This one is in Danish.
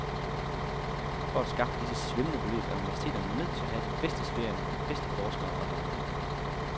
For at skaffe disse svimlende beløb er universiteterne nødt til at have de bedste studerende, de bedste forskere og lærere.